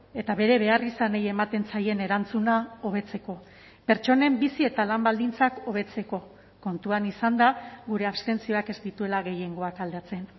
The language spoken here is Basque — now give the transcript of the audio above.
eta bere beharrizanei ematen zaien erantzuna hobetzeko pertsonen bizi eta lan baldintzak hobetzeko kontuan izanda gure abstentzioak ez dituela gehiengoak aldatzen